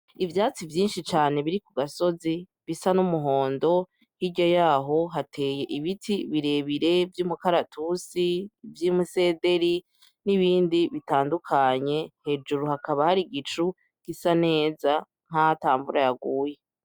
Ivyatsi vyinshi cane biri ku gasozi bisa n'umuhondo, hirya yaho hateye ibiti birebire vy'umukaratusi, vy'imisederi nibindi bitandukanye, hejuru hakaba hari igicu gisa neza nkaho ata mvura yaguye.